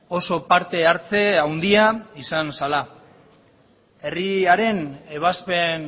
oso parte hartze handia izan zela herriaren ebazpen